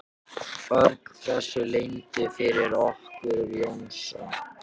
Örn þessu leyndu fyrir okkur Jónsa?